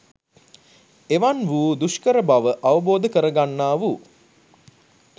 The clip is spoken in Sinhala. එවන් වූ දුෂ්කරබව අවබෝධ කරගන්නා වූ